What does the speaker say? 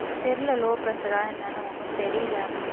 தெரியல low pressure ஆ என்னான்னு ஒன்றும் தெரியலே